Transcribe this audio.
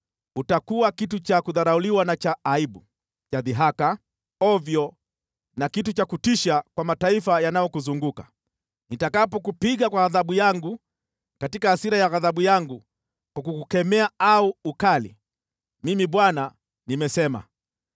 Utakuwa kitu cha kudharauliwa na cha aibu, cha dhihaka, ovyo na kitu cha kutisha kwa mataifa yanayokuzunguka, nitakapokupiga kwa adhabu yangu katika hasira na ghadhabu yangu kwa kukukemea kwa ukali. Mimi Bwana nimesema.